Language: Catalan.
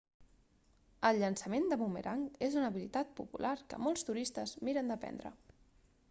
el llançament de bumerang és una habilitat popular que molts turistes miren d'aprendre